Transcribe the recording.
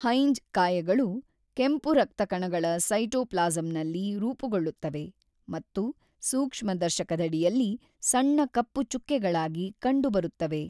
Heinz ಕಾಯಗಳು ಕೆಂಪು ರಕ್ತ ಕಣಗಳ ಸೈಟೋಪ್ಲಾಸಂನಲ್ಲಿ ರೂಪುಗೊಳ್ಳುತ್ತವೆ ಮತ್ತು ಸೂಕ್ಷ್ಮದರ್ಶಕದಡಿಯಲ್ಲಿ ಸಣ್ಣ ಕಪ್ಪು ಚುಕ್ಕೆಗಳಾಗಿ ಕಂಡುಬರುತ್ತವೆ.